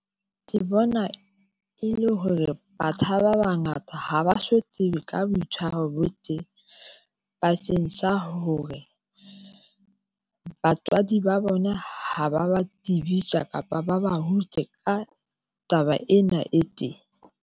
Ke bona e le hore batjha ba bangata ha ba so tsebe ka boitshwaro bo teng bakeng sa hore batswadi ba bona ha ba ba tsebisa kapa ba ba ka taba ena e teng.